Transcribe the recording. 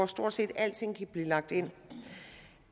stort set alting kan blive lagt ind i